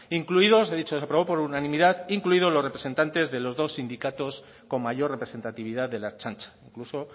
incluidos he dicho aprobado por unanimidad incluido los representantes de los dos sindicatos con mayor representatividad de la ertzaintza incluso